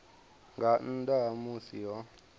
nga nnḓa ha musi ho